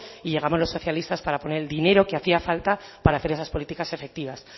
y llegamos los socialistas para poner el dinero que hacía falta para hacer esas políticas efectivas